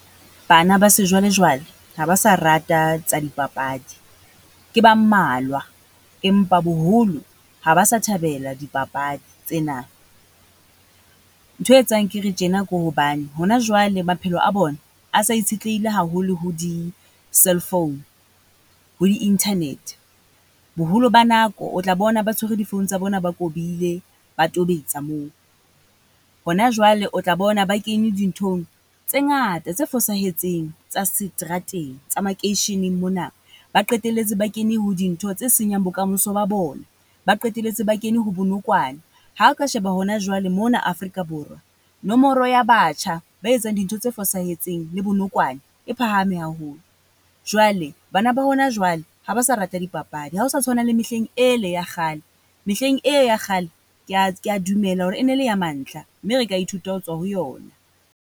Bana ba sejwalejwale, ha ba sa rata tsa dipapadi. Ke ba mmalwa empa boholo ha ba sa thabela dipapadi tsena. Nthwe e etsang ke re tjena, ke hobane hona jwale maphelo a bona, a sa itshetlehile haholo ho di-cell phone. Ho di-internet, boholo ba nako o tla bona ba tshwere di-phone tsa bona, ba kobile ba tobetsa moo. Hona jwale o tla bona ba kene di nthong tse ngata, tse fosahetseng tsa seterateng tsa makeisheneng mona, ba qetelletse ba kene ho dintho tse senyang bokamoso ba bona. Ba qetelletse ba kene ho bonokwane, ha o ka sheba hona jwale mona Afrika Borwa, nomoro ya batjha ba etsang dintho tse fosahetseng, le bonokwane e e phahame haholo. Jwale bana ba hona jwale ha ba sa rate dipapadi. Ha ho sa tshwana le mehleng ele ya kgale, mehleng e ya kgale, ke a ke ya ka dumela hore e ne le ya mantlha mme, re ka ithuta ho tswa ho yona.